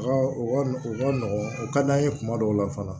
Nɔgɔn o ka d'an ye kuma dɔw la fana